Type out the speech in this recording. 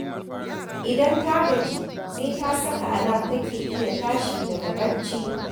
Idan ta gaji, sai ta saka alam take iya tashi daga barci